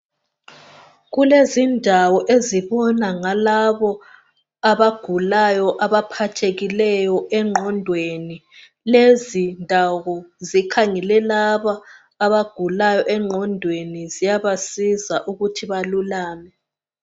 Kulezindawo ezibona ngalabo abagulayo abaphathekileyo engqondweni. Lezi ndawo zikhangele labo abagulayo engqondweni ziyabasiza ukuthi balulame